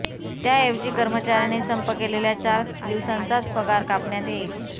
त्याऐवजी कर्मचार्यांनी संप केलेल्या चार दिवसांचाच पगार कापण्यात येईल